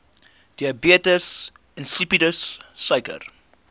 diabetes insipidus suiker